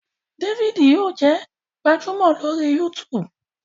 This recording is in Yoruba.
David yíò jé gbajúmò lori YouTube.